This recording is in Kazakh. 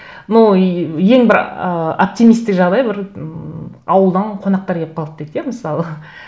ну еее ең бір ыыы оптимистік жағдай бір ммм ауылдан қонақтар келіп қалды дейік иә мысалы